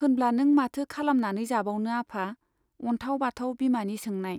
होनब्ला नों माथो खालामनानै जाबावनो आफा? अन्थाव बाथाव बिमानि सोंनाय।